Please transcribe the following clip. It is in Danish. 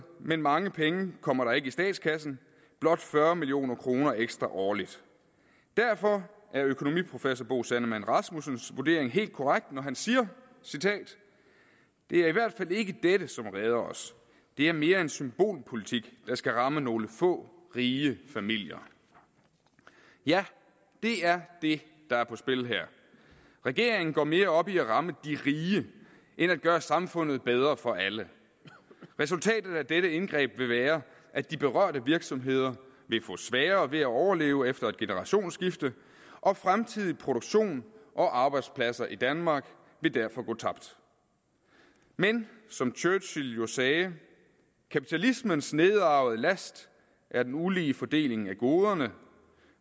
men mange penge kommer der ikke i statskassen blot fyrre million kroner ekstra årligt derfor er økonomiprofessor bo sandemann rasmussens vurdering helt korrekt når han siger det er i hvert fald ikke dette som redder os det er mere en symbolpolitik der skal ramme nogle få rige familier ja det er det der er på spil her regeringen går mere op i at ramme de rige end at gøre samfundet bedre for alle resultatet af dette indgreb vil være at de berørte virksomheder vil få sværere ved at overleve efter et generationsskifte og fremtidig produktion og arbejdspladser i danmark vil derfor gå tabt men som churchill jo sagde kapitalismens nedarvede last er den ulige fordeling af goderne